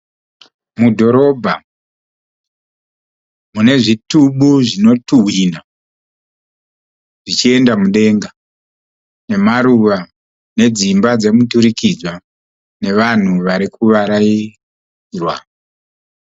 Mudhorobha mune zvitubu zvinotuhwina zvichienda mudenga nemaruva nedzimba dzemuturikidzwa nevanhu vari kuvarairwa.